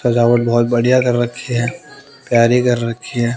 सजावट बहोत बढ़िया तरह रखी है तैयारी कर रखी है।